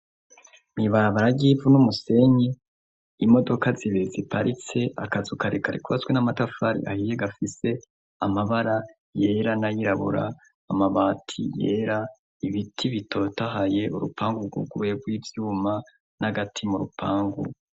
Mibarabara ry'ivu n' umusenyi imodoka zibeze i parise akazukarekarekwaswi n'amatafari ayiye gafise amabara yera nayirabura amabati yera ibiti bitotahaye urupangu rwuguwerw'ivyuma n'agati mu rupangu.